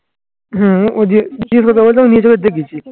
হম ওদিয়ে